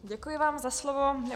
Děkuji vám za slovo.